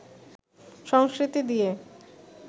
সংস্কৃতি দিয়ে